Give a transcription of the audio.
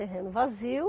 Terreno vazio.